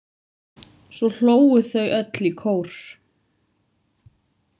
Svo hlógu þau öll í kór.